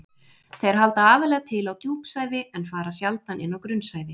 Þeir halda aðallega til á djúpsævi en fara sjaldan inn á grunnsævi.